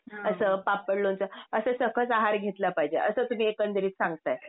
असं पापड, लोणचं असं सकस आहार घेतला पाहिजे असं तुम्ही एकंदरीत सांगताय.